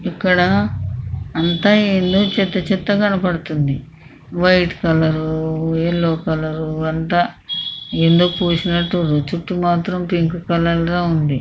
ఇక్కడ అంత ఏందో చెత్త చెత్త గా కనపడుతుంది వైట్ కలర్ ఎల్లో కలర్ అంత ఏందో పూసినట్టు రుతుతూ మాత్రం పింక్ కలర్ లా ఉంది.